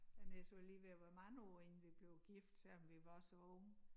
Jeg nær siger lige ved at være mange år inden vi blev gift selvom vi var så unge